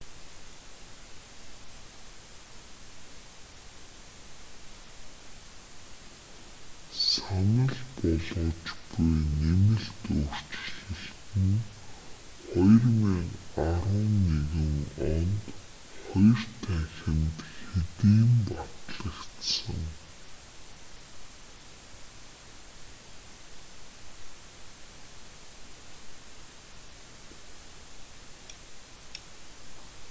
санал болгож буй нэмэлт өөрчлөлт нь 2011 онд хоёр танхимд хэдийн батлагдсан